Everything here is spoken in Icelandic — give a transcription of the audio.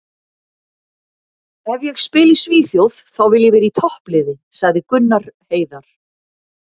Ef ég spila í Svíþjóð þá vil ég vera í toppliði, sagði Gunnar Heiðar.